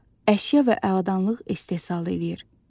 Əşya və aladanlıq istehsal eləyir.